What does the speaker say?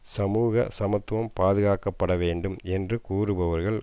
சமூக சமத்துவம் பாதுகாக்கப்பட வேண்டும் என்று கூறுபவர்கள்